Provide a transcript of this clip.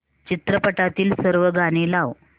चित्रपटातील सर्व गाणी लाव